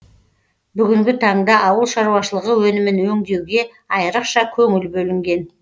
бүгінгі таңда ауыл шаруашылығы өнімін өңдеуге айырықша көңіл бөлінген